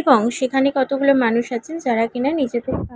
এবং সেখানে কতগুলা মানুষ আছেন যারা কিনা নিজেদের কা--